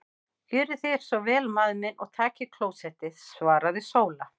Gjörið þér svo vel maður minn og takið klósettið, svaraði Sóla.